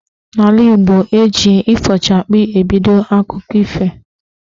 N'ala Igbo, eji "ifochakpi" ebido akụkọ ife.